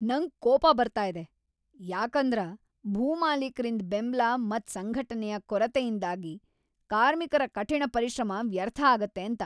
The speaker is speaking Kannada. ನಂಗ್ ಕೋಪ ಬರ್ತಾ ಇದೆ ಯಾಕಂದರ ಭೂಮಾಲೀಕರಿಂದ್ ಬೆಂಬ್ಲ ಮತ್ ಸಂಘಟನೆಯ ಕೊರತೆಯಿಂದಾಗ್ ಕಾರ್ಮಿಕರ ಕಠಿಣ ಪರಿಶ್ರಮ ವ್ಯರ್ಥ ಆಗುತ್ತೆ ಅಂತ.